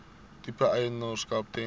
tipe eienaarskap ten